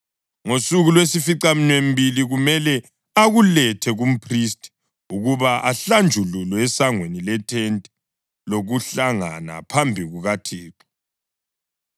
Ngosuku lwesificaminwembili kumele akulethe kumphristi ukuba ahlanjululwe esangweni lethente lokuhlangana phambi kukaThixo.